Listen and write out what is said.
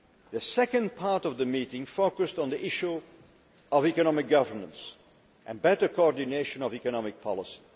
The second part of the meeting focused on the issue of economic governance and better coordination of economic policy.